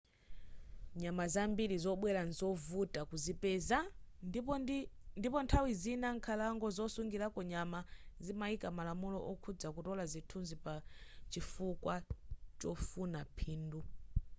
nyama zambili zobwela nzovuta kuzipeza ndipo nthawi zina nkhalango zosungilako nyama zimaika malamulo okhuza kutola zithunzi pa chifukwa chofuna phindu